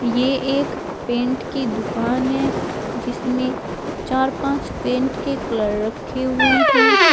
ये एक पेंट की दुकान है जिसमें चार पांच पेंट के कलर रखे हुए हैं।